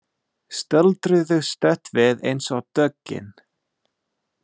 Stöldruðu stutt við eins og döggin.